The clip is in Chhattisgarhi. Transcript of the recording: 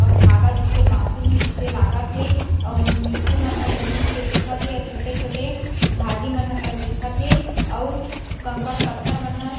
अउ धागा जइसे बंधीनेहे जिसे लागत हे और मिटटी मन ह जमीन के दिखत हे अउ छोटे-छोटे भाजी मन ह तक दिखत हे अउ कंकर पत्थर मन ह--